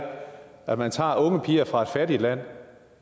at man tager unge piger fra et fattigt land